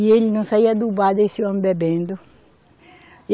E ele não saía do bar desse homem bebendo.